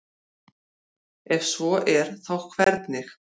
ef svo er þá hvernig